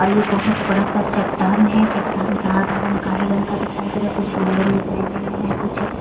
और ये बहुत बड़ा सा चट्टान है चट्टान का आधा रंग काही रंग का दिखाई दे रहा है कुछ गोल्डन दिखाई दे रहा है कुछ--